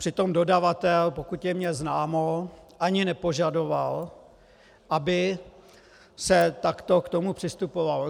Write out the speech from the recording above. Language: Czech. Přitom dodavatel, pokud je mi známo, ani nepožadoval, aby se takto k tomu přistupovalo.